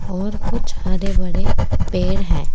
और कुछ हरे भरे पेड़ है।